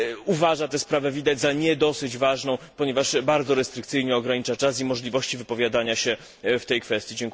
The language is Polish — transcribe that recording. uważa tę sprawę, widać, za nie dosyć ważną, ponieważ bardzo restrykcyjnie ogranicza czas i możliwości wypowiadania się w tej kwestii.